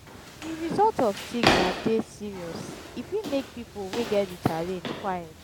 di result of stigma dey serious e fit make pipo wey get di challenge quiet